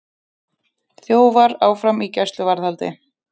Þjófar áfram í gæsluvarðhaldi